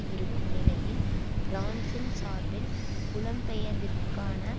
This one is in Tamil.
இருக்கும் நிலையில் பிரான்சின் சார்பில் புலம்பெயர்விற்கான